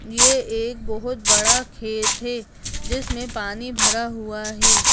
ये एक बहुत बड़ा खेत है जिसमे पानी भरा हुआ है।